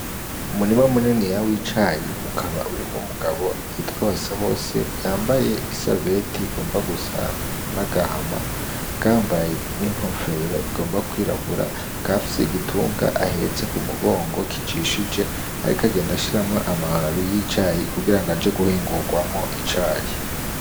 Umurima muniniya w'icayi ukaba urimwo umugabo yitwa Basabose, yambaye isarubeti igomba gusa n'agahama, akaba yambaye n'inkofero igomba kwirabura, akaba afise igitunga ahetse ku mugongo, kijishije ariko agenda ashiramwo amababi y'icayi kugira ngo aje guhingurwamwo icayi.